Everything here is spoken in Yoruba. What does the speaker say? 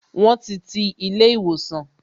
Won ti ti ilé ìwòsàn